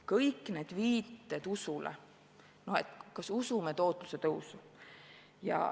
Kõik need viited usule, et kas usume tootluse tõusu.